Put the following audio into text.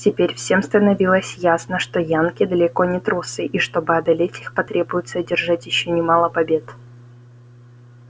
теперь всем становилось ясно что янки далеко не трусы и чтобы одолеть их потребуется одержать ещё немало побед